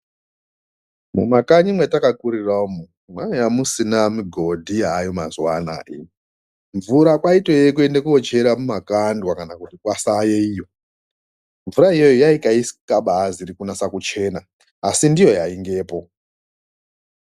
Kumakanyi kwatakakurirayo kwanga kusina migodhi Mvura kwaitove kundochera mymagandwa kana kwasave iyi mvura yakabazi kunyasa kuchena ndiyo yaiveko.